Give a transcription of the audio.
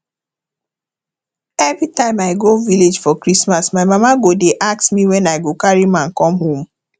everytime i go village for christmas my mama go dey ask me when i go carry man come home